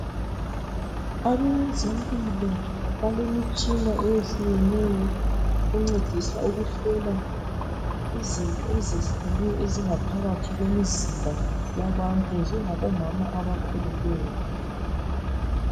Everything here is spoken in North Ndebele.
Abezempilo balemitshina eyehlukeneyo encedisa ukuhlola izinto ezehlukeneyo ezingaphakathi kwemizimba yabantu njengabo mama abakhulelweyo.